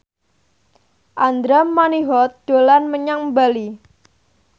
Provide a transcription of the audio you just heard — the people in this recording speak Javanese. Andra Manihot dolan menyang Bali